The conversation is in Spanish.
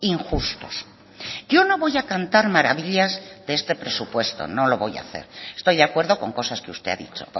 injustos yo no voy a cantar maravillas de este presupuesto no lo voy a hacer estoy de acuerdo con cosas que usted ha dicho